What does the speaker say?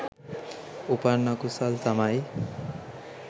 උපන් අකුසල් තමයි